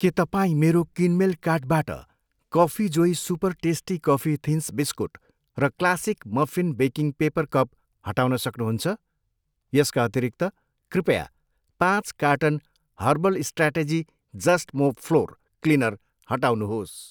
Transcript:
के तपाईँ मेरो किनमेल कार्टबाट coffee Joy super tasty coffee thins biscuit र classic muffin baking paper cup हटाउन सक्नुहुन्छ? यसका अतिरिक्त, कृपया पाँच carton herbal strategy just mop floor cleaner हटाउनुहोस्।